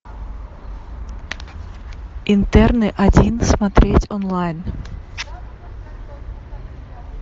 интерны один смотреть онлайн